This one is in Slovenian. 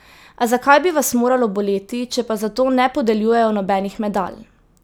A zakaj bi vas moralo boleti, če pa za to ne podeljujejo nobenih medalj?